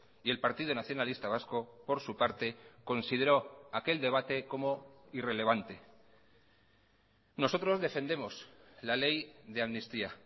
y el partido nacionalista vasco por su parte consideró aquel debate como irrelevante nosotros defendemos la ley de amnistía